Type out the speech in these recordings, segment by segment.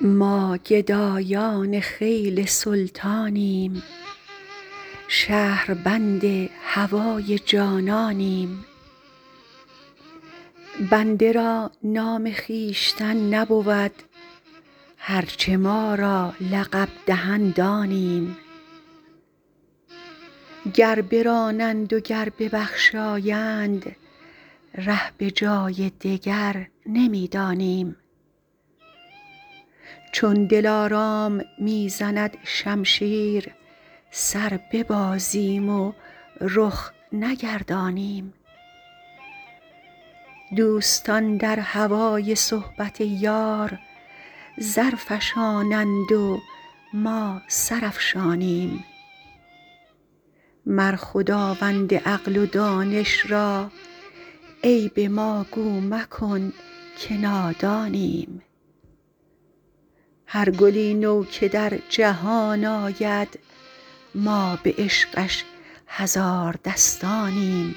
ما گدایان خیل سلطانیم شهربند هوای جانانیم بنده را نام خویشتن نبود هر چه ما را لقب دهند آنیم گر برانند و گر ببخشایند ره به جای دگر نمی دانیم چون دلارام می زند شمشیر سر ببازیم و رخ نگردانیم دوستان در هوای صحبت یار زر فشانند و ما سر افشانیم مر خداوند عقل و دانش را عیب ما گو مکن که نادانیم هر گلی نو که در جهان آید ما به عشقش هزار دستانیم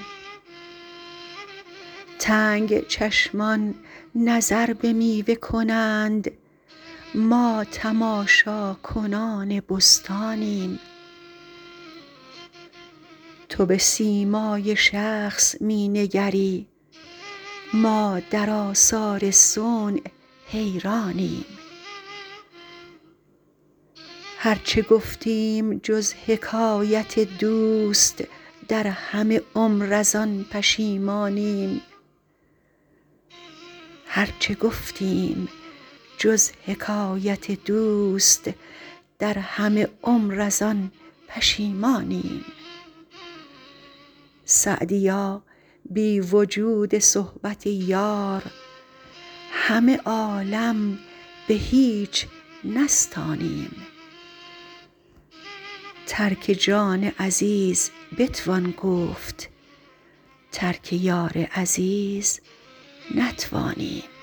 تنگ چشمان نظر به میوه کنند ما تماشاکنان بستانیم تو به سیمای شخص می نگری ما در آثار صنع حیرانیم هر چه گفتیم جز حکایت دوست در همه عمر از آن پشیمانیم سعدیا بی وجود صحبت یار همه عالم به هیچ نستانیم ترک جان عزیز بتوان گفت ترک یار عزیز نتوانیم